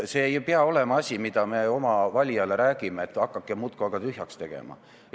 See ei pea olema asi, mida me oma valijale räägime, et hakake muudkui aga tühjaks tegema.